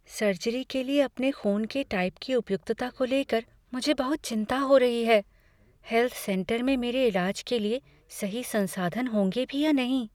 Surgery के लिए अपने ख़ून के टाइप की उपयुक्तता को ले कर मुझे बहुत चिंता हो रही है। हैल्थ सेंटर में मेरे इलाज के लिए सही संसाधन होंगे भी या नहीं?